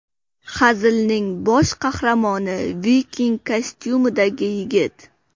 Hazilning bosh qahramoni viking kostyumidagi yigit.